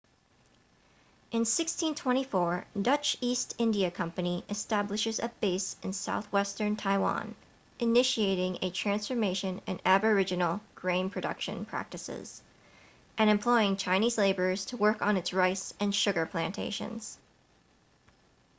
in 1624,dutch east india company establishes a base in southwestern taiwan initiating a transformation in aboriginal grain production practices and employing chinese laborers to work on its rice and sugar plantations